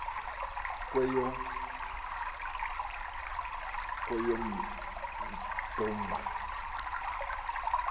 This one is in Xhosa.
kweyomdumba